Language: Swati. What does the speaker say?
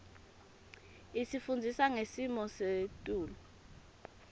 isifundisa ngesimo setulu